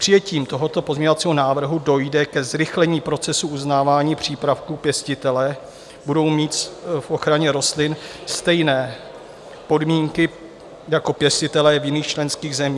Přijetím tohoto pozměňovacího návrhu dojde ke zrychlení procesu uznávání přípravků pěstitele, budou mít v ochraně rostlin stejné podmínky jako pěstitelé v jiných členských zemích.